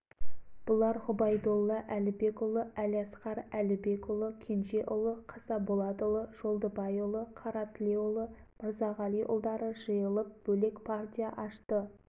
түндік басына жүз сомнан ақша жинала бастады ақшаны бермеген жерлерге алашорда азаматтары қамшы ойната бастады қаратөбе